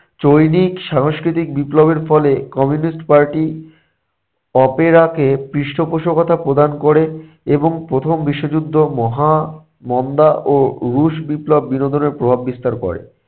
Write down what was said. চৈনিক সাংস্কৃতিক বিপ্লবের ফলে communist party, opera কে পৃষ্ঠপোষকতা প্রদান ক'রে এবং প্রথম বিশ্বযুদ্ধ মহা মন্দা ও রুশ বিপ্লব বিনোদনের প্রভাব বিস্তার করে।